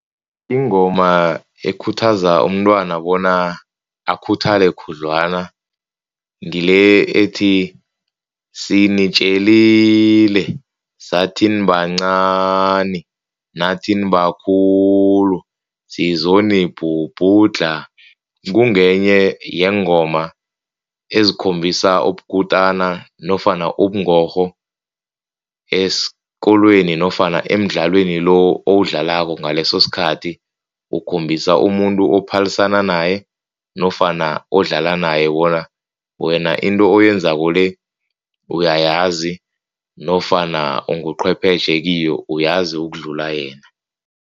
Ingoma ekhuthaza umntwana bona akhuthale khudlwana ngile ethi, sinitjelile sathi nibancani nathi nibakhulu sizonibhubhudlha. Kungenye yeengoma ezikhombisa ubukutani nofana ubungorho esikolweni nofana emdlalweni lo owudlalako ngaleso sikhathi. Ukhombisa umuntu ophalisana naye nofana odlala naye bona wena into oyenzako le uyayazi nofana unguchwepheshe kiyo uyazi ukudlula yena.